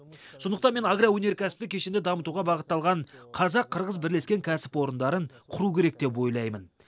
сондықтан мен агроөнеркәсіптік кешенді дамытуға бағытталған қазақ қырғыз бірлескен кәсіпорындарын құру керек деп ойлаймын